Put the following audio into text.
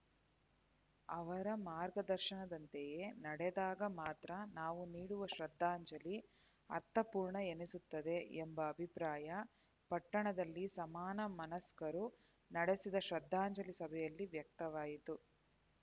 ಅವರ ಮಾರ್ಗದರ್ಶನದಂತೆಯೆ ನಡೆದಾಗ ಮಾತ್ರ ನಾವು ನೀಡುವ ಶ್ರದ್ಧಾಂಜಲಿ ಅರ್ಥಪೂರ್ಣ ಎನಿಸುತ್ತದೆ ಎಂಬ ಅಭಿಪ್ರಾಯ ಪಟ್ಟಣದಲ್ಲಿ ಸಮಾನ ಮನಸ್ಕರು ನಡೆಸಿದ ಶ್ರದ್ಧಾಂಜಲಿ ಸಭೆಯಲ್ಲಿ ವ್ಯಕ್ತವಾಯಿತು